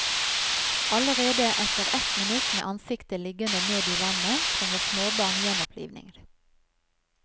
Allerede etter ett minutt med ansiktet liggende ned i vannet trenger småbarn gjenopplivning.